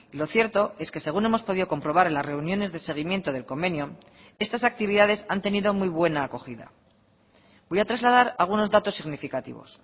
lo cierto es que según hemos podido comprobar en las reuniones de seguimiento del convenio estas actividades han tenido muy buena acogida voy a trasladar algunos datos significativos